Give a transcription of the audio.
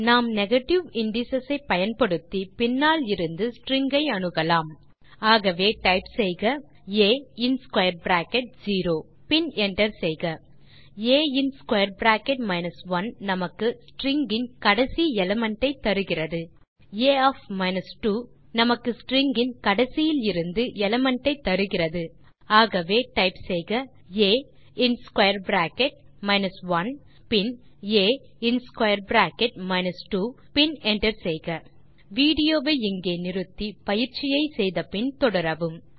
நாம் negative indices ஐ பயன்படுத்தி பின்னாலிருந்து ஸ்ட்ரிங்ஸ் ஐ அணுகலாம் ஆகவே டைப் செய்க ஆ இன் ஸ்க்வேர் பிராக்கெட் செரோ பின் என்டர் செய்க ஆ இன் ஸ்க்வேர் பிராக்கெட் மைனஸ் 1 நமக்கு ஸ்ட்ரிங் இன் கடைசி எலிமெண்ட் ஐ தருகிறது a 2 நமக்கு ஸ்ட்ரிங் இன் கடைசியிலிருந்து எலிமெண்ட் ஐ தருகிறது ஆகவே டைப் செய்க ஆ இன் ஸ்க்வேர் பிராக்கெட் மைனஸ் 1 பின் என்டர் செய்க பின் ஆ இன் ஸ்க்வேர் பிராக்கெட் மைனஸ் 2 பின் என்டர் செய்க வீடியோ வை இங்கே நிறுத்தி பயிற்சியை செய்து முடித்து பின் தொடரவும்